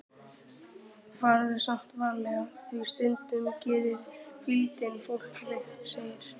Farðu samt varlega því stundum gerir hvíldin fólk veikt, segir